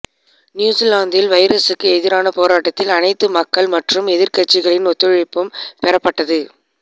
நியூசிலாந்தில் வைரசுக்கு எதிரான போராட்டத்தில் அனைத்து மக்கள் மற்றும் எதிர்கட்சிகளின் ஒத்துழைப்பும் பெறப்பட்டது